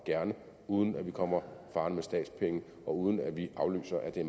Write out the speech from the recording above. gerne uden at vi kommer farende med statspenge og uden at vi aflyser at det